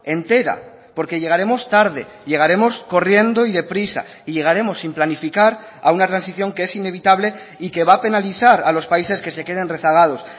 entera porque llegaremos tarde llegaremos corriendo y deprisa y llegaremos sin planificar a una transición que es inevitable y que va a penalizar a los países que se queden rezagados